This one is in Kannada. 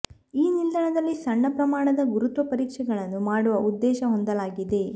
ಈ ನಿಲ್ದಾಣದಲ್ಲಿ ಸಣ್ಣ ಪ್ರಮಾಣದ ಗುರುತ್ವ ಪರೀಕ್ಷೆಗಳನ್ನು ಮಾಡುವ ಉದ್ದೇಶ ಹೊಂದಲಾಗಿದೆ